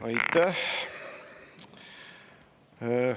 Aitäh!